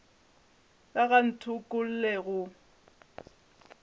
ka ga a ntokolle go